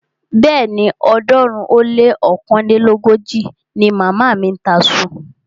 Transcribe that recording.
Bẹ́ẹ̀ni, ọ̀ọ́dúnrún ó lé ọ̀kánlélógójì ni màmá mi ń ta iṣu